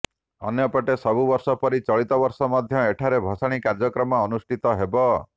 ଅନ୍ୟପଟେ ସବୁବର୍ଷ ପରି ଚଳିତ ବର୍ଷ ମଧ୍ୟ ଏଠାରେ ଭସାଣୀ କାର୍ଯ୍ୟକ୍ରମ ଅନୁଷ୍ଠିତ ହେବ